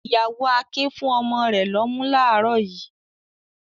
Ìyàwó Akin fún ọmọ rẹ̀ lọ́mú láàárọ̀ yìí.